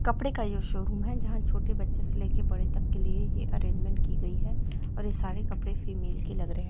कपड़े का ये शोरूम है जहाँ छोटे बच्चे से लेके बड़े तक के लिए ये अरेंजमेंट की गई है और ये सारे कपड़े फीमेल के लग रहे --